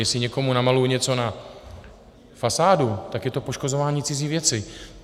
Jestli někomu namaluju něco na fasádu, tak je to poškozování cizí věci.